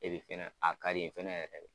Ebi fɛnɛ a ka di n ye fɛnɛ yɛrɛ de.